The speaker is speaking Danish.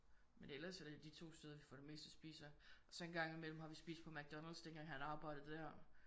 Men ellers så er det de 2 steder vi får det meste at spise af og så engang imellem har vi spist på McDonald's dengang han arbejdede der